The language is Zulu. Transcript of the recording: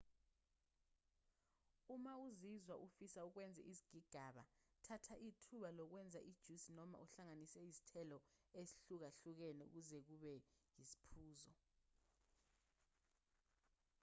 uma uzizwa ufisa ukwenza izigigaba thatha ithuba lokwenza ijusi noma uhlanganise izithelo ezihlukahlukene ukuze kube yisiphuzo